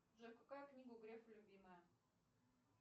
джой какая книга у грефа любимая